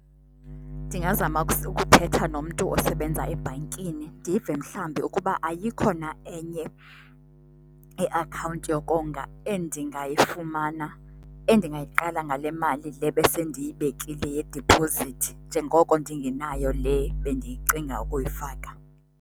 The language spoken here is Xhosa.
Ndingazama ukuthetha nomntu osebenza ebhankini ndive mhlambi ukuba ayikho na enye iakhawunti yokonga endingayifumana endingayiqala ngale mali le besendiyibekile yediphozithi njengoko ndingenayo le bendiyicinga ukuyifaka.